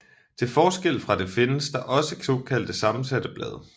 Til forskel fra det findes der også såkaldt sammensatte blade